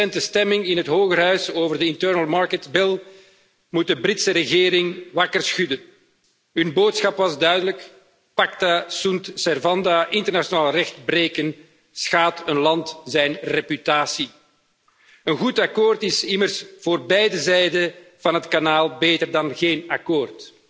De recente stemming in het Hogerhuis over de Internal Market Bill moet de Britse regering wakker schudden. De boodschap was duidelijk pacta sunt servanda internationaal recht breken schaadt de reputatie van een land. Een goed akkoord is immers voor beide zijden van het Kanaal beter dan geen akkoord.